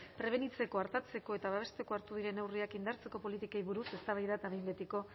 prebenitzeko artatzeko eta babesteko hartu diren neurriak indartzeko politikei buruz eztabaida eta behin betiko